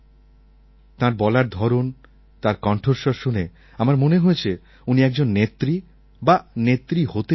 তাঁর বলার ধরণ তার কণ্ঠস্বর শুনে আমার মনে হয়েছে উনি একজন নেত্রী বা নেত্রী হতে চলেছেন